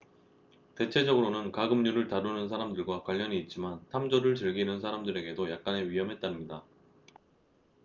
대체적으로는 가금류를 다루는 사람들과 관련이 있지만 탐조를 즐기는 사람들에게도 약간의 위험이 따릅니다